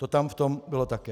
To tam v tom bylo také.